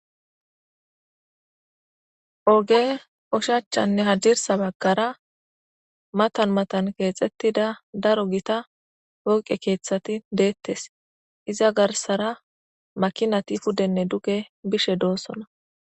oge ushachchanne hadirsa baggara matan matan keexettida daro gita woqe keeththati deettes iza garsara makinati puddenne duge bishe doossona